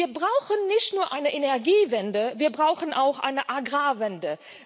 Wir brauchen nicht nur eine Energiewende, wir brauchen auch eine Agrarwende.